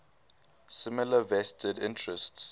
similar vested interests